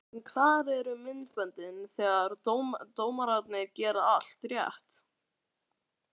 En hvar eru myndböndin þegar dómararnir gera allt rétt?